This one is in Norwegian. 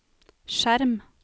skjerm